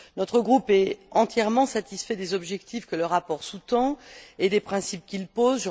Notre groupe est entièrement satisfait des objectifs que le rapport sous tend et des principes qu'il pose.